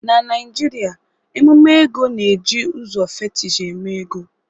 Na Naijiria emume ego na-eji ụzọ fetish eme ego